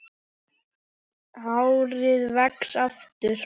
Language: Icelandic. Hárið vex aftur.